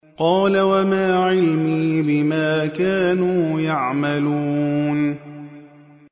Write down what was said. قَالَ وَمَا عِلْمِي بِمَا كَانُوا يَعْمَلُونَ